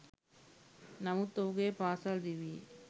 නමුත් ඔහුගේ පාසල් දිවියේ